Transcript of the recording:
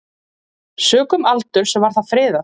Sökum aldurs var það friðað.